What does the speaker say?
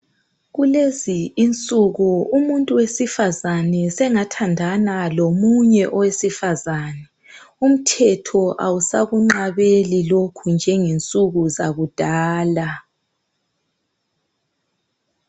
Kulezi insuku umuntu wesifazane sengathandana lomunye owesifazane umthemtho awusakunqabeli lokhu njenge nsuku zakudala.